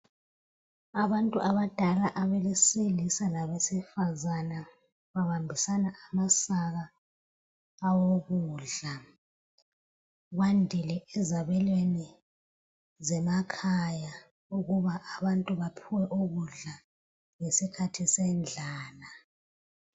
Abantu abadala abesilisa labesifazana babambisana amasaka awokudla. Kwandile ezabelweni zemakhaya ukuba abantu baphiwe ukudla ngesikhathi sendlala.